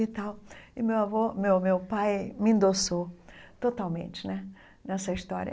E tal e meu avô, meu meu pai, me endossou totalmente né nessa história.